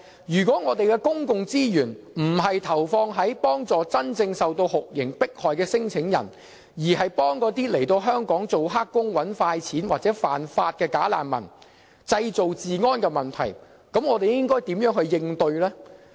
如果我們的公共資源並非投放於幫助真正受酷刑迫害的聲請人，而是幫助那些來港當"黑工"、"搵快錢"或犯法的"假難民"，造成治安問題，我們該如何應對呢？